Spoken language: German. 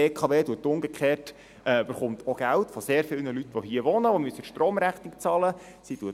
Die BKW erhält umgekehrt auch Geld von sehr vielen Leuten, die hier wohnen, die ihre Stromrechnung zahlen müssen.